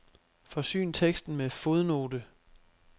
Forsyn teksten med fodnote.